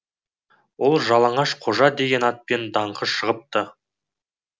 ол жалаңаш қожа деген атпен даңқы шығыпты